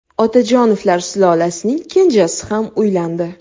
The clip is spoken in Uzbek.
Otajonovlar sulolasining kenjasi ham uylandi .